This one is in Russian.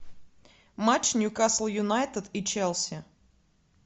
матч ньюкасл юнайтед и челси